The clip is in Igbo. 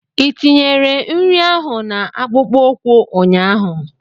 Ị tinyere nri ahụ na akpụkpọ ụkwụ ụnyaahụ?